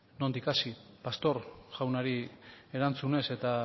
nondik hasi pastor jaunari erantzunez eta